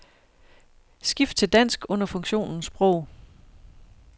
Skift til dansk under funktionen sprog.